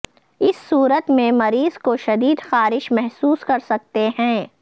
اس صورت میں مریض کو شدید خارش محسوس کر سکتے ہیں